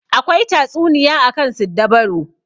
Akwai tatsuniya akan siddabaru.